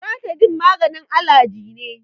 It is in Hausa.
Loratidin maganin alaji ne.